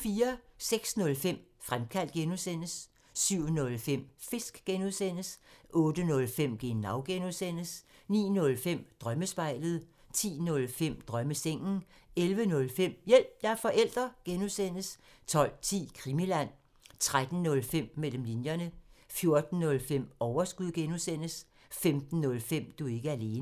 06:05: Fremkaldt (G) 07:05: Fisk (G) 08:05: Genau (G) 09:05: Drømmespejlet 10:05: Drømmesengen 11:05: Hjælp – jeg er forælder! (G) 12:10: Krimiland 13:05: Mellem linjerne 14:05: Overskud (G) 15:05: Du er ikke alene